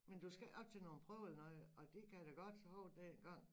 Men du skal ikke op til nogen prøver eller noget og det kan jeg da godt huske dengang